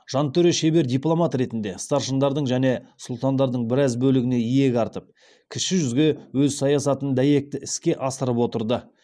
жантөре шебер дипломат ретінде старшындардың және сұлтандардың біраз бөлігіне иек артып кіші жүзде өз саясатын дәйекті іске асырып отырды